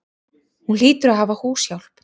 Hún hlýtur að hafa húshjálp.